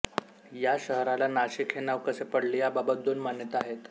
या शहराला नाशिक हे नाव कसे पडले या बाबत दोन मान्यता आहेत